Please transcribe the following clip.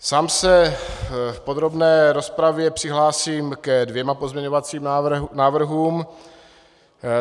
Sám se v podrobné rozpravě přihlásím ke dvěma pozměňovacím návrhům.